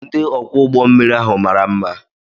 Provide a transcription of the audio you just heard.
Ndị ọkwọ ụgbọ mmiri ahụ mara mma.